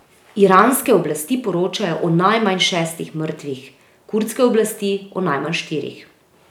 Iranske oblasti poročajo o najmanj šestih mrtvih, kurdske oblasti o najmanj štirih.